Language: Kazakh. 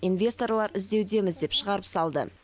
инвесторлар іздеудеміз деп шығарып салды